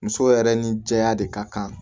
Muso yɛrɛ ni cɛya de ka kan